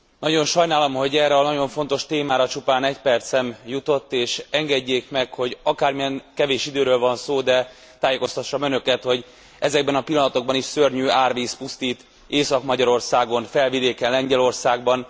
Nagyon sajnálom, hogy erre a nagyon fontos témára csupán egy percem jutott, és engedjék meg, hogy akármilyen kevés időről van szó, de tájékoztassam önöket, hogy ezekben a pillanatokban is szörnyű árvíz pusztít Észak Magyarországon, Felvidéken, Lengyelországban.